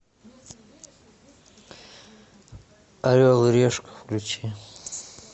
орел и решка включи